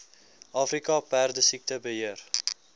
afrika perdesiekte beheer